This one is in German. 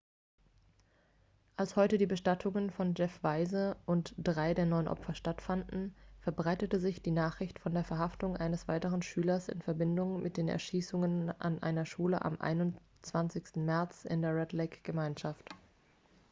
als heute die bestattungen von jeff weise und drei der neun opfer stattfanden verbreitete sich die nachricht von der verhaftung eines weiteren schülers in verbindung mit den erschießungen an einer schule am 21. märz in der red-lake-gemeinschaft